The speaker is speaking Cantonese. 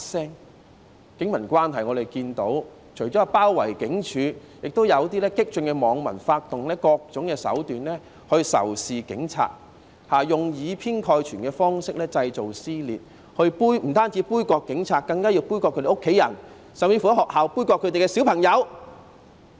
在警民關係方面，我們除了看到示威者包圍警總之外，也有部分激進網民發動各種手段仇視警察，用以偏概全方式製造撕裂，不僅杯葛警察，更要杯葛他們的家人，甚至在學校杯葛他們的孩子。